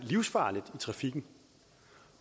livsfarligt i trafikken